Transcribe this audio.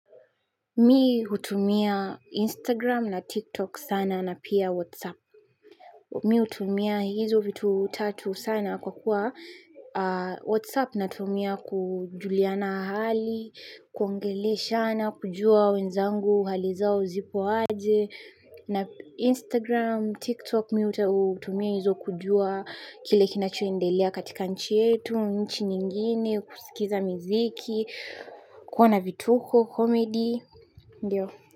Mi hutumia Instagram na TikTok sana na pia WhatsApp. Mi hutumia hizo vitu tatu sana kwa kuwa WhatsApp natumia kujuliana hali, kuongeleshana, kujua wenzangu, hali zao zipo aje. Na Instagram, TikTok mi hutumia hizo kujua kile kinachoendelea katika nchi yetu, nchi nyingine, kusikiza miziki, kuona vituko, komedi ndiyo.